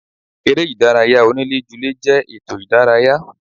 Eré ìdárayá onílé ju lé jẹ́ ètò ìdárayá.